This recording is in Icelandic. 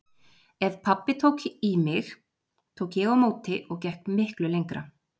Ef pabbi tók í mig tók ég á móti og gekk miklu lengra.